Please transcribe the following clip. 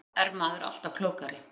Eftir á er maður alltaf klókari.